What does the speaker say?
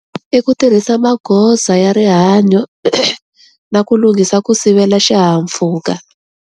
I ku tirhisa magoza ya rihanyo, na ku lunghisa ku sivela xihahampfhuka.